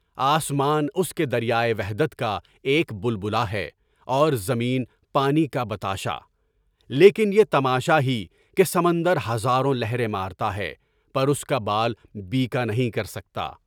آسمان اس کے در پائے وحدت کا ایک بلبلہ ہے، اور زمین پانی کا بتاشہ، لیکن یہ تماشا ہی کہ سمندر ہزاروں لہریں مارتا ہے، پر اس کا پال بیکانہیں کر سکتا۔